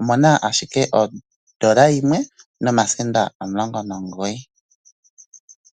omu na ashike ondola yimwe nomasenda omulongo nomugoyi.